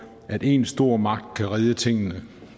at en stor magt kan redde tingene